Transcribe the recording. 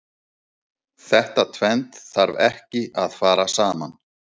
Þetta tvennt þarf ekki að fara saman.